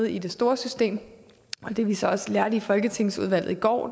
i det store system og det vi så også lærte i folketingsudvalget i går